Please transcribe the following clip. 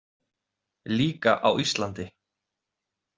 Líka á Íslandi.